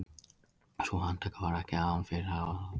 Sú handtaka var ekki án fyrirhafnar